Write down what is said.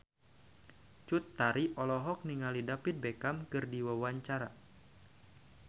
Cut Tari olohok ningali David Beckham keur diwawancara